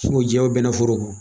Sugu jɛ o bɛnɛ foro ko.